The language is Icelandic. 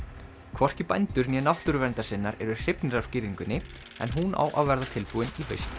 hvorki bændur né náttúruverndarsinnar eru hrifnir af girðingunni en hún á að verða tilbúin í haust